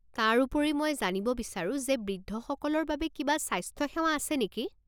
তাৰোপৰি, মই জানিব বিচাৰোঁ যে বৃদ্ধসকলৰ বাবে কিবা স্বাস্থ্য সেৱা আছে নেকি?